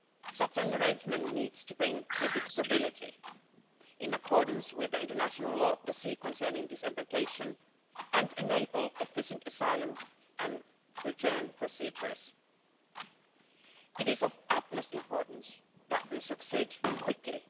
Such an arrangement needs to bring predictability, in accordance with the International Law of the Sea concerning disembarkation, and enable efficient asylum and return procedures. It is of utmost importance that we succeed quickly.